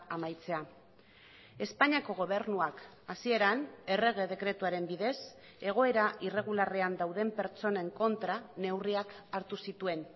amaitzea espainiako gobernuak hasieran errege dekretuaren bidez egoera irregularrean dauden pertsonen kontra neurriak hartu zituen